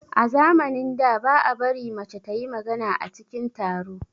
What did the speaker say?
A zamanin da, ba a bari mace ta yi magana a cikin taro.